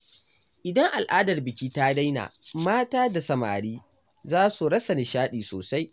Idan al’adar biki ta daina, mata da samari za su rasa nishaɗi sosai.